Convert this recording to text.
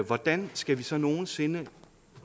hvordan skal vi så nogen sinde nå